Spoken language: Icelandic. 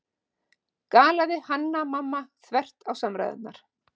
galaði Hanna-Mamma þvert á samræðurnar.